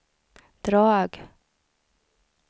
drag